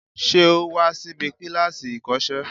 Ṣé o wa síbi kíláàsì ìkọ́sẹ́